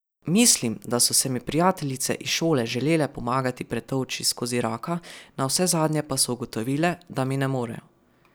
Mislim, da so se mi prijateljice iz šole želele pomagati pretolči skozi raka, navsezadnje pa so ugotovile, da mi ne morejo.